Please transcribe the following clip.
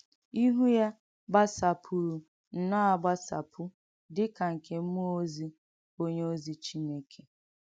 Ìhù yà gbàsàpùrù nnọ́ọ̀ àgbàsàpù — dì kà nkè m̀múọ̀ ózì, onyè ózì Chínékè.